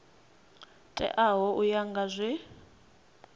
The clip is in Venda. teaho u ya nga zwe